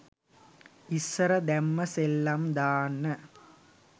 ඉස්සර දැම්ම සෙල්ලම් දාන්න